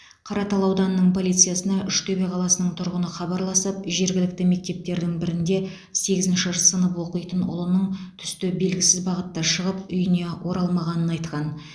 қаратал ауданының полициясына үштөбе қаласының тұрғыны хабарласып жергілікті мектептердің бірінде сегізінші сынып оқитын ұлының түсте белгісіз бағытта шығып үйіне оралмағанын айтқан